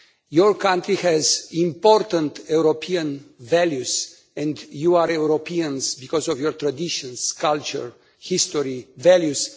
Your country has important European values, and you are Europeans because of your traditions, culture, history and values.